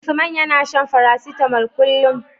Usman yAna shan paracetamol kullun